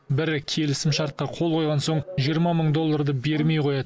бірі келісімшартқа қол қойған соң жиырма мың долларды бермей қояды